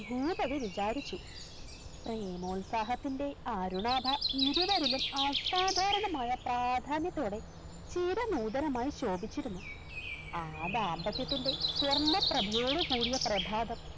ഭൂപതി വിചാരിച്ചു പ്രേമോത്സാഹത്തിൻറെ ആരുണാഭ ഇരുവരിലും അസ്സാധാരണമായ പ്രാധാന്യത്തോടെ ശീത നൂതനമായി ശോഭിച്ചിരുന്നു ആ ദാമ്പത്യത്തിൻറെ സ്വർണ്ണ പ്രഭയോടുകൂടിയ പ്രഭാതം